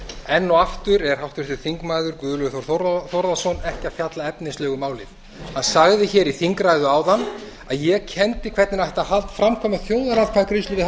enn og aftur er háttvirtur þingmaður guðlaugur þór þórðarson ekki að fjalla efnislega um málið hann sagði í þingræðu áðan að ég kenndi hvernig ætti að framkvæma þjóðaratkvæðagreiðslu við háskóla